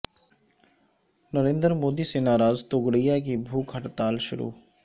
نریندر مودی سے ناراض توگڑیا کی بھوک ہڑتال شروع